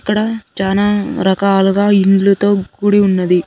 ఇక్కడ చానా రకాలుగా ఇండ్లతో కూడి ఉన్నది.